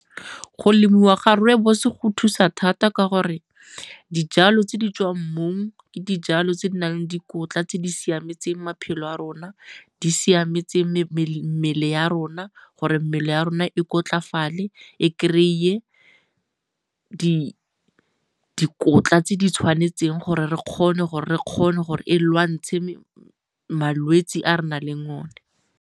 Go lemiwa ga rooibos go thusa thata ka gore dijalo tse di tswang mmung ke dijalo tse di nang le dikotla tse di siametseng maphelo a rona. Di siametse mmele ya rona gore mmele ya rona e kotlafale e kry-e dikotla tse di tshwanetseng gore re kgone gore e lwantshe malwetse a re nang le one.